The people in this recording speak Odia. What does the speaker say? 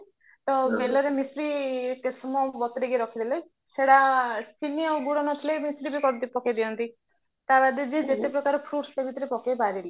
ତ ବେଲରେ ମିଶ୍ରି କେତେ ସମୟ ବତୁରେଇକି ରଖିଦେଲେ ସେଟା ଚିନି ଆଉ ଗୁଡ ନଥିଲେ ମିଶ୍ରି ବି ପକେଇଦିଅନ୍ତି ତା ବାଦେ ଯିଏ ଯେତେ ପ୍ରକାର fruits ତା ଭିତରେ ପକେଇପାରିଲେ